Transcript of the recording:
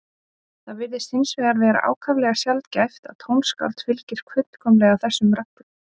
Það virðist hins vegar vera ákaflega sjaldgæft að tónskáld fylgi fullkomlega þessum reglum.